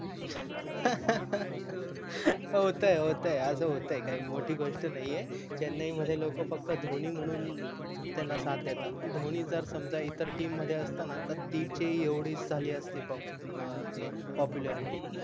होतय होतय अस होतय काही मोठी घोष्ट नाही आहे चेन्नई मध्ये लोक फक्त धोनी म्हणून त्याला साथ देतात धोनी जर समजा इतर TEAM मध्ये असता न त तिचे एवढेच झाले असते POPULARITY